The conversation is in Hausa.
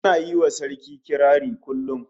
Ana yi ma Sarki kirari kullum